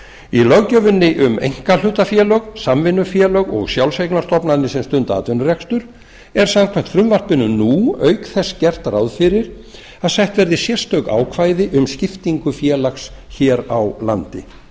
í löggjöfinni um einkahlutafélög samvinnufélög og sjálfseignarstofnanir sem stunda atvinnurekstur er samkvæmt frumvarpinu nú auk þess gert ráð fyrir að sett verði sérstök ákvæði um skiptingu félags hér á landi